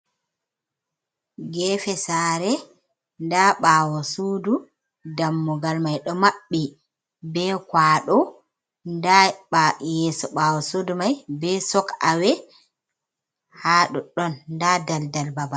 Gefe sare nda ɓawo sudu dammugal mai ɗo maɓɓi be kwaɗo, nda yeso ɓawo sudu mai be sokawe ha ɗoɗɗon, nda daldal babal.